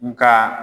Nga